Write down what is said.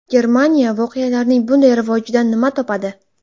Germaniya voqealarning bunday rivojidan nima topadi?